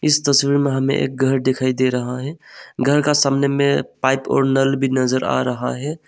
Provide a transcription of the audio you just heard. इस तस्वीर में हमें एक घर दिखाई दे रहा है घर का सामने में पाइप और नल भी नजर आ रहा है।